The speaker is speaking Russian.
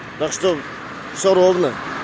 так что всё ровно